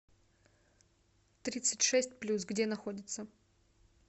тридцать шесть плюс где находится